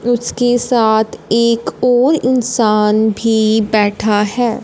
उसके साथ एक और इंसान भी बैठा है।